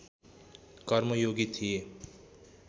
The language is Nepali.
कर्मयोगी थिए